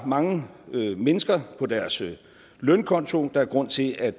mange mennesker på deres lønkonto og der er grund til at